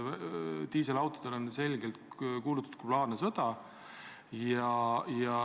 Diiselautodele on selgelt kuulutatud globaalne sõda.